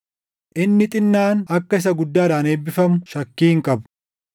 Inni xinnaan akka isa guddaadhaan eebbifamu shakkii hin qabu.